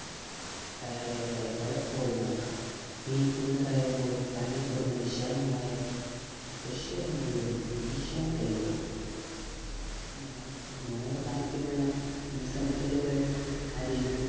കയറിയിറങ്ങാൻ പലപ്പോഴും മടക്കം ഈ കുന്ന് കയറുമ്പോൾ കണ്ണിൽപ്പെടുന്ന വിശാലമായ വശ്വരം മുഴുവൻ മീശാൻ കല്ലുകളാണ് നു നൂറുകണക്കിനുള്ള മീശാൻ കല്ലുകൾ അതിൽ